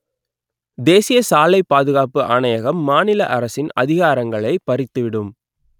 தேசிய சாலை பாதுகாப்பு ஆணையகம் மாநில அரசின் அதிகாரங்களை பறித்துவிடும்